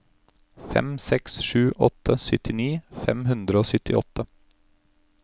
fem seks sju åtte syttini fem hundre og syttiåtte